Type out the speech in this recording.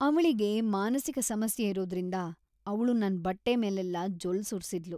ಅವ್ಳಿಗೆ ಮಾನಸಿಕ ಸಮಸ್ಯೆ ಇರೋದ್ರಿಂದ ಅವ್ಳು ನನ್ ಬಟ್ಟೆ ಮೇಲೆಲ್ಲ ಜೊಲ್ಲ್ ಸುರ್ಸಿದ್ಳು.